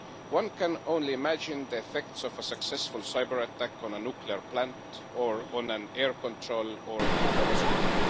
One can only imagine the effects of a successful cyber attack on a nuclear plant, on an air traffic control facility or on a hospital.